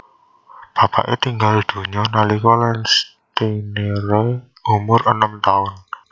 Bapake tinggal donya nalika Landsteiner umur enem taun